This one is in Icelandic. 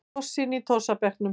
Tossinn í tossabekknum.